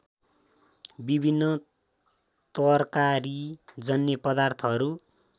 विभिन्न तरकारीजन्य पदार्थहरू